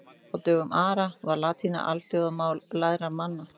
Á dögum Ara var latína alþjóðamál lærðra manna.